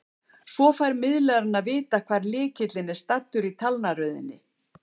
Svo fær miðlarinn að vita hvar lykillinn er staddur í talnaröðinni.